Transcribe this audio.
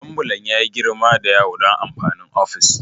Ambulan ya yi girma da yawa don amfanin ofis